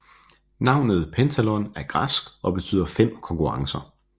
Navnet Pentathlon er græsk og betyder fem konkurrencer